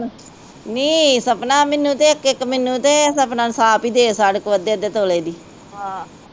ਨੀ ਸਪਨਾ, ਮੈਨੂੰ ਤੇ ਇੱਕ-ਇੱਕ, ਮੈਨੂੰ ਤੇ ਸਪਨਾ ਨੂੰ ਛਾਪਾ ਦੇ ਅੱਦੇ-ਅੱਦੇ ਤੋਲੇ ਦੀ